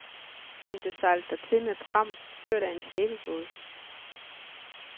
Den blev sejlet dertil med pram, ført af en slæbebåd.